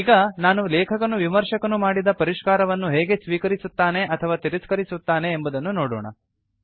ಈಗ ನಾವು ಲೇಖಕನು ವಿಮರ್ಶಕನು ಮಾಡಿದ ಪರಿಷ್ಕಾರವನ್ನು ಹೇಗೆ ಸ್ವೀಕರಿಸುತ್ತನೆ ಅಥವಾ ತಿರಸ್ಕರಿಸುತ್ತಾನೆ ಎಂಬುದನ್ನು ನೋಡೋಣ